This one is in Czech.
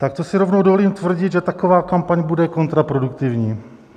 Tak to si rovnou dovolím tvrdit, že taková kampaň bude kontraproduktivní.